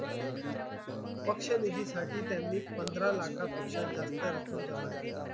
पक्ष निधी साठी त्यांनी पंधरा लाखापेक्षा जास्त रक्कम जमा केली.